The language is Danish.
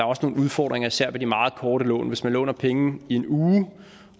også nogle udfordringer især ved de meget korte lån hvis man låner penge i en uge